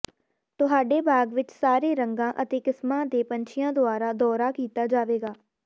ਤੁਹਾਡੇ ਬਾਗ਼ ਵਿਚ ਸਾਰੇ ਰੰਗਾਂ ਅਤੇ ਕਿਸਮਾਂ ਦੇ ਪੰਛੀਆਂ ਦੁਆਰਾ ਦੌਰਾ ਕੀਤਾ ਜਾਵੇਗਾ